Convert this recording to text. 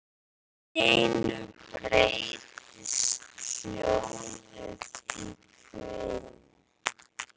Allt í einu breytist hljóðið í hvin.